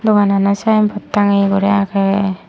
doganano symbot tangeye guri age.